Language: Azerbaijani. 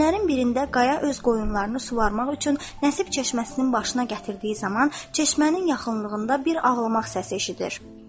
Günlərin birində Qaya öz qoyunlarını suvamaq üçün Nəsib çeşməsinin başına gətirdiyi zaman çeşmənin yaxınlığında bir ağlamaq səsi eşidir.